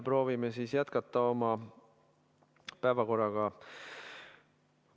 Proovime jätkata oma päevakorraga.